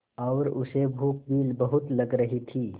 और उसे भूख भी बहुत लग रही थी